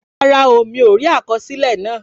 Rárá o, mi ò rí àkọsílẹ̀ náà